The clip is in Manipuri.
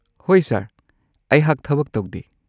ꯍꯣꯏ ꯁꯔ꯫ ꯑꯩꯍꯥꯛ ꯊꯕꯛ ꯇꯧꯗꯦ꯫